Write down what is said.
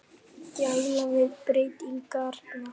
Gæla við breytingarnar.